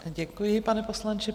Děkuji, pane poslanče.